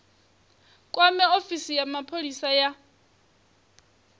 kwame ofisi ya mapholisa ya